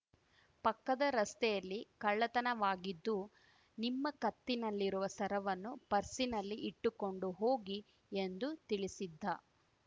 ಪಕ್ಕದ ರಸ್ತೆಯಲ್ಲಿ ಕಳ್ಳತನವಾಗಿದ್ದು ನಿಮ್ಮ ಕತ್ತಿನಲ್ಲಿರುವ ಸರವನ್ನು ಪರ್ಸಿನಲ್ಲಿ ಇಟ್ಟುಕೊಂಡು ಹೋಗಿ ಎಂದು ತಿಳಿಸಿದ್ದ